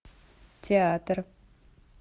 театр